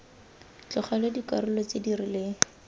tlogelwa dikarolo tse di rileng